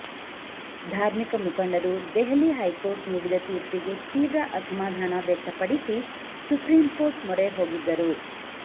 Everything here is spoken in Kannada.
ಧಾರ್ಮಿಕ ಮುಖಂಡರು ದೆಹಲಿ ಹೈಕೋರ್ಟ್ ನೀಡಿದ ತೀರ್ಪಿಗೆ ತೀವ್ರ ಅಸಮಾಧಾನ ವ್ಯಕ್ತಪಡಿಸಿ ಸುಪ್ರಿಂಕೋರ್ಟ್ ಮೊರೆ ಹೋಗಿದ್ದರು